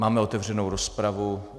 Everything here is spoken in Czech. Máme otevřenou rozpravu.